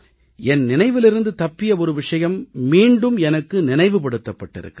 என் நினைவிலிருந்து தப்பிய ஒரு விஷயம் மீண்டும் எனக்கு நினைவுபடுத்தப்பட்டிருக்கிறது